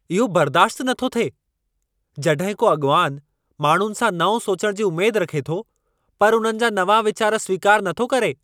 इहो बर्दाश्ति नथो थिए जड॒हिं को अॻवानु माण्हुनि सां नओं सोचणु जी उमेद रखे थो पर उन्हनि जा नवां वीचार स्वीकारु नथो करे।